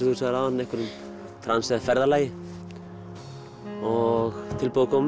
þú sagðir áðan einhverjum trans eða ferðalagi og tilbúið að koma